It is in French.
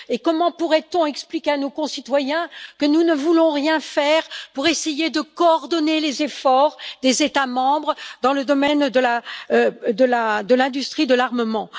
Comment pourrait on expliquer à nos concitoyens que nous ne voulons rien faire pour essayer de coordonner les efforts des États membres dans le domaine de l'industrie de l'armement?